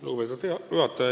Lugupeetud juhataja!